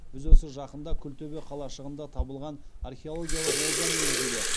біз осы жақында күлтөбе қалашығында табылған археологиялық олжа негізінде